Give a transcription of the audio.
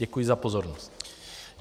Děkuji za pozornost.